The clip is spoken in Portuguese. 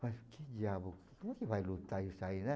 Mas que diabos, como que vai lutar isso aí, né?